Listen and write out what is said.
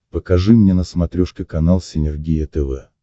покажи мне на смотрешке канал синергия тв